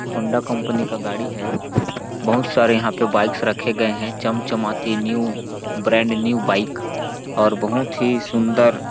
Honda company का गाड़ी है बहुत सारे यहाँ पे बाइक्स रखे गए हैं चमचमाती न्यू ब्रांड न्यू बाइक और बहुत ही सुंदर --